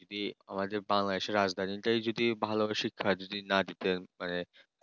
যদি আমাদের Bangladesh র রাজধানী তে যদি ভালোভাবে শিক্ষা না দিতে মানে